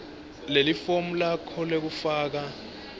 lelifomu lakho lekufaka